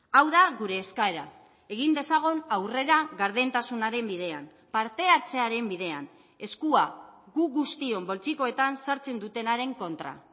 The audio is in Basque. hau da gure eskaera egin dezagun aurrera gardentasunaren bidean parte hartzearen bidean eskua gu guztion poltsikoetan sartzen dutenaren kontra